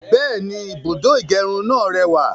Bẹ́ẹ̀ni, ibùdó ìgẹrun náà rẹwà